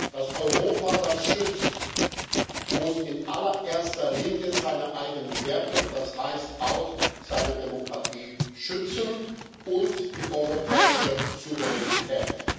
Das Europa, das schützt, muss in allererster Linie seine eigenen Werte und das heißt auch, seine Demokratie, schützen und die europäische Souveränität.